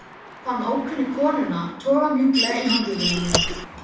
Fann ókunnu konuna toga mjúklega í handlegginn á mér